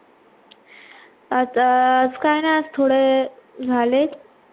आता अं आज काही नाही आज थोडे झाले,